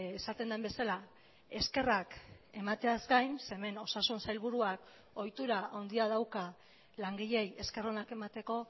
esaten den bezala eskerrak emateaz gain ze hemen osasun sailburuak ohitura handia dauka langileei esker onak emateko